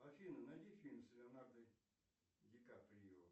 афина найди фильм с леонардо ди каприо